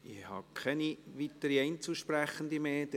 Ich habe keine weiteren Einzelsprechenden mehr auf der Liste.